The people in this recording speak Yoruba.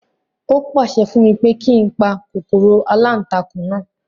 Ó pàṣẹ fún mi pé kí n pa kòkòrò aláǹtakùn náà